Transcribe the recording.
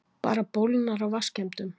Bara bólgnar af vatnsskemmdum.